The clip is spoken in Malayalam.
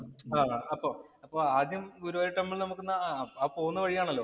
ആഹ് അപ്പൊ അപ്പൊ ആദ്യം ഗുരുവായൂര്‍ ടെമ്പിളില്‍ നമുക്കിന്നു പോകുന്ന വഴിയാണല്ലോ.